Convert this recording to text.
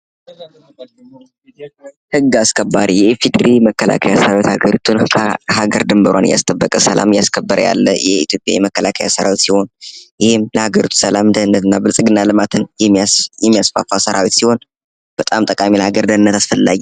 ህግ አስከባሪ የኢፌድሪ መከላከያ ሰራዊት የሀገሪቱን ዳር ድንበር እያስጠበቁ እያለ ሰላሟን እያስከበረ ያለ የኢትዮጵያ መከላከያ ሰራዊት ለሀገሪቱ ሰላም ብልጽግናና ልማትን የሚያስፋፋ ሰራዊት ሲሆን በጣም ለሀገሪቱ ጠቃሚና አስፈላጊ ነው።